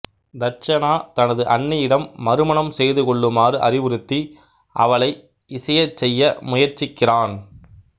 தட்சணா தனது அண்ணியிடம் மறுமணம் செய்து கொள்ளுமாறு அறிவுறுத்தி அவளை இசையச் செய்ய முயற்சிக்கிறான்